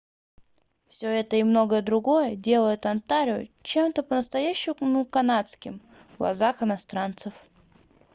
все это и многое другое делает онтарио чем-то по-настоящему канадским в глазах иностранцев